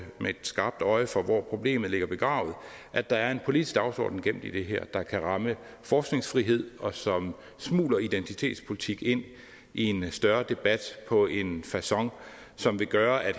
med et skarpt øje for hvor problemet ligger begravet at der er en politisk dagsorden gemt i det her der kan ramme forskningsfrihed og som smugler identitetspolitik ind i en større debat på en facon som vil gøre at